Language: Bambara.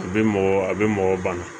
A bɛ mɔgɔ a bɛ mɔgɔ bana